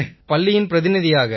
பள்ளியின் பிரதிநிதியாக